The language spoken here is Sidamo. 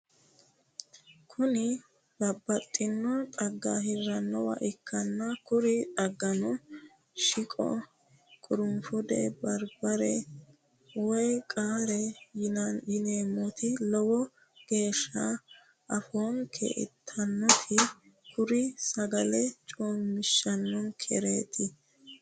kuni babbaxitino dhagga hiranniwa ikkanna kuri dhaggano shiqo, qurunfude, barbare woy qaara yineemoti lowo geesha afoonke ittannotinna kuri sagale coomishannonkereeti.